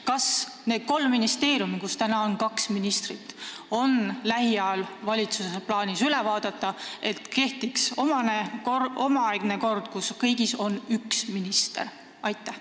Kas valitsusel on plaanis lähiajal üle vaadata need kolm ministeeriumi, kus praegu on kaks ministrit, nii et kehtiks omaaegne kord, st kõigis oleks üks minister?